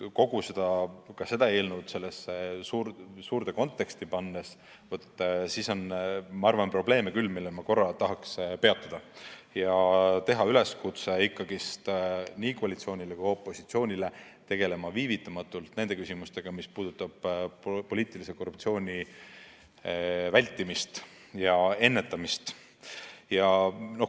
Kui see eelnõu laiemasse konteksti panna, siis on minu arvates probleeme küll ja ma tahaksingi neil peatuda ning teha üleskutse nii koalitsioonile kui opositsioonile: tegeleme viivitamatult nende küsimustega, mis puudutavad poliitilise korruptsiooni vältimist!